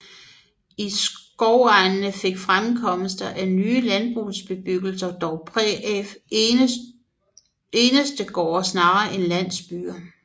I skovegne fik fremkomsten af nye landbrugsbebyggelser dog præg af enestegårde snarere end landsbyer